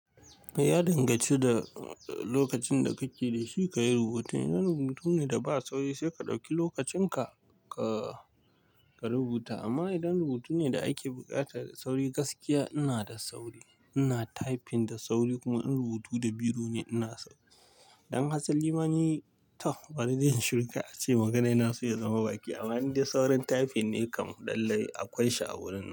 Mai ya danganci da lokacin da kake da shi ka yi rubutu. Idan rubutu ne da ba sauri sai ka ɗauki lokacin ka, ka, ka rubuta amma idan rubutu ne da ake buƙatar sauri gaskiya ina da sauri. Ina typing da sauri kuma in rubutu da biro ne ina sauri. Idan Hasan limani ta bari dai in yi shuru kar ace magana ya naso ya zama baki amma in dai saurin typing ne kam dallai akwai sha'awurin nan.